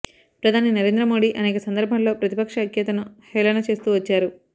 ప్రధాని నరేంద్రమోడీ అనేక సందర్భాల్లో ప్రతిపక్ష ఐక్యతను హేళన చేస్తూ వచ్చారు